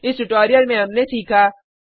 इस ट्यूटोरियल में हमने सीखा